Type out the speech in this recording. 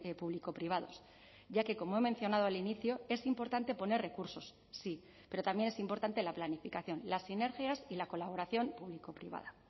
público privados ya que como he mencionado al inicio es importante poner recursos sí pero también es importante la planificación las sinergias y la colaboración público privada